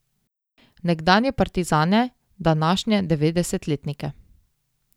Nekdanje partizane, današnje devetdesetletnike?